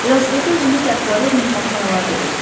Velosipedi özümüzlə aparıb mehmanxanalarda göstərdik.